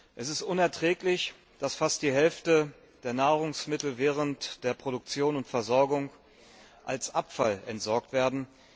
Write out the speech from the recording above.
Es ist unerträglich, dass fast die Hälfte der Nahrungsmittel während der Produktion und Versorgung als Abfall entsorgt werden.